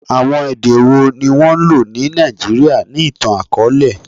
Awọn ede wo ni wọn lo ni Naijiria ni itan-akọọlẹ?